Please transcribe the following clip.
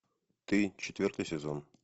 ты четвертый сезон